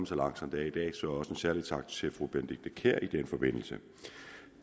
så langt som det er i dag så også en særlig tak til fru benedikte kiær i den forbindelse